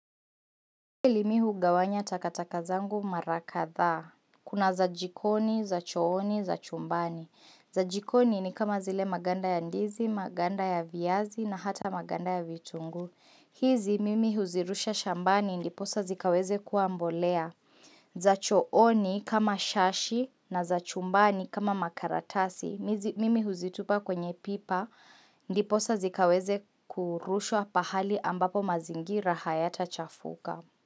Pili mi hugawanya takataka zangu mara kadhaa. Kuna za jikoni, za chooni, za chumbani. Za jikoni ni kama zile maganda ya ndizi, maganda ya viazi na hata maganda ya vitunguu. Hizi mimi huzirusha shambani ndiposa zikaweze kua mbolea. Za chooni kama shashi na za chumbani kama makaratasi. Mimi huzitupa kwenye pipa ndiposa zikaweze kurushwa pahali ambapo mazingira hayatachafuka.